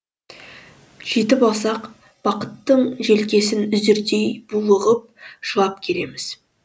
жетіп алсақ бақыттың желкесін үзердей булығып жылап келеміз